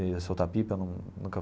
Ele ia soltar pipa eu num nunca.